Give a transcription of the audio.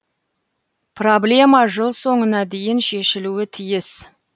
проблема жыл соңына дейін шешілуі тиіс